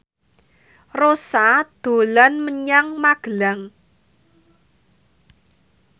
Rossa dolan menyang Magelang